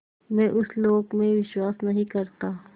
मैं उस लोक में विश्वास नहीं करता